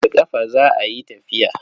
Da ƙafa za a yi tafiya.